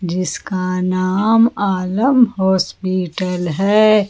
इसका नाम आलम हॉस्पिटल है।